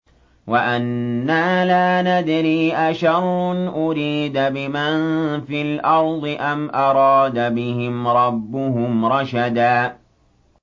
وَأَنَّا لَا نَدْرِي أَشَرٌّ أُرِيدَ بِمَن فِي الْأَرْضِ أَمْ أَرَادَ بِهِمْ رَبُّهُمْ رَشَدًا